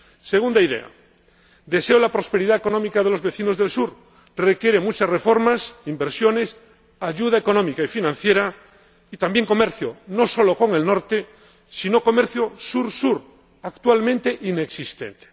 Segunda idea deseo la prosperidad económica de los vecinos del sur requiere muchas reformas, inversiones, ayuda económica y financiera y también comercio, no sólo con el norte, sino también comercio sur sur, actualmente inexistente.